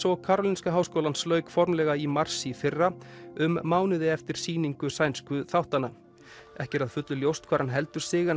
og Karolinska háskólans lauk formlega í mars í fyrra um mánuði eftir sýningu sænsku þáttanna ekki er að fullu ljóst hvar hann heldur sig en